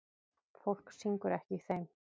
Fólk syngur ekki í þeim.